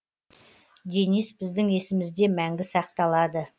денис біздің есімізде мәңгі сақталады